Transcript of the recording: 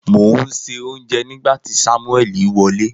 Mo n se ounje nigba ti samueli wole.